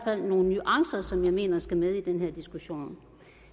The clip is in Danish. fald nogle nuancer som jeg mener skal med i den her diskussion